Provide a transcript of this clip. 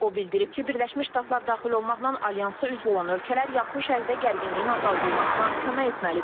O bildirib ki, Birləşmiş Ştatlar daxil olmaqla alyansa üzv olan ölkələr Yaxın Şərqdə gərginliyin azaldılmasına kömək etməlidir.